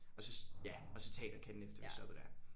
Og så ja og så Teaterkatten efter jeg stoppede der